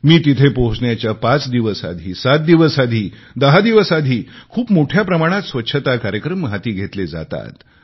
मी तिथे पोहोचण्याच्या पाच दिवस आधी सात दिवस आधी दहा दिवस आधी खूप मोठ्या प्रमाणात स्वच्छता कार्यक्रम हाती घेतले जातात